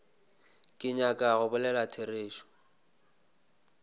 ke nyaka go bolela therešo